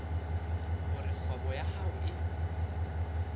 hore kgwebo ya hao e